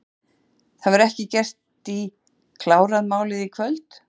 Heimir: Það verður ekki gert í, klárað málið í kvöld?